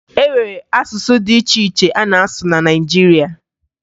E nwere asụsụ dị iche iche a na-asụ na Naịjirịa